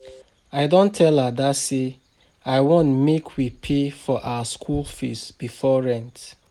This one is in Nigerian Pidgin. I don tell Ada say I want make we pay for our school fees before rent